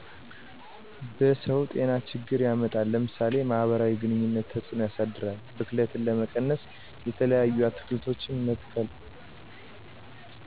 በሰዉ ጤናችግር ያመጣል ለምሳሌ ማህበራዊ ግኑኝነት ተፅእኖ ያሳድራል ብክለትን ለመቀነስ የተለያዪ አትክልቶችን መትከል።